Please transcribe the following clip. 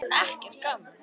Sem elskaði allt.